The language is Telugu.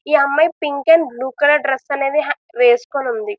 ఈ అమ్మాయి pink and blue colour dress అనేది వేసుకొని ఉంది.